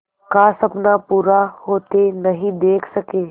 का सपना पूरा होते नहीं देख सके